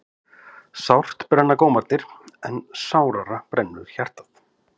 Sárt brenna gómarnir en sárara brennur hjartað.